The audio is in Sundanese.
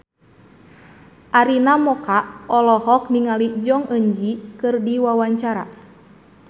Arina Mocca olohok ningali Jong Eun Ji keur diwawancara